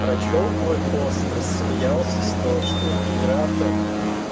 прочёл твой пост рассмеялся с того что я генератор